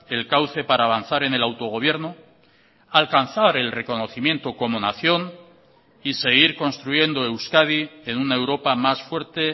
el cauce para avanzar en el autogobierno alcanzar el reconocimiento como nación y seguir construyendo euskadi en una europa más fuerte